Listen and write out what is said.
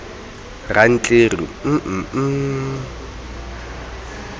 rantleru m m m m